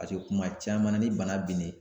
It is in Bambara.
paseke kuma caman ni bana binnen